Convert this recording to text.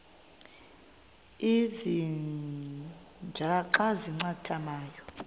ezintia xa zincathamayo